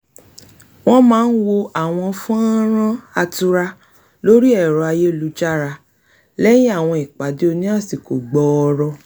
wọ́n máà n wo àwọn fọ́nrán -án atura lórí ẹ̀rọ ayélujára lẹ́yìn àwọn ìpàdé oní àsìkò gbọọrọ